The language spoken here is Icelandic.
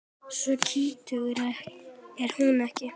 Svo skítug er hún ekki.